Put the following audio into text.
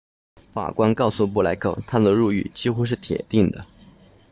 法官告诉布莱克他的入狱几乎是铁定的